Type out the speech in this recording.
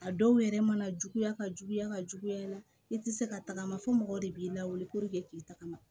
A dɔw yɛrɛ mana juguya ka juguya ka juguya i tɛ se ka tagama fo mɔgɔ de b'i lawuli k'i tagama